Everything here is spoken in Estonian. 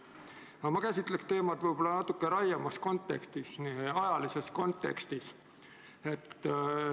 Aga ma käsitlen teemat natuke laiemas ajalises kontekstis.